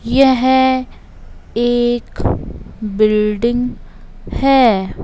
यह एक बिल्डिंग है।